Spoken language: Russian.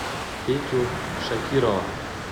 петю шакирова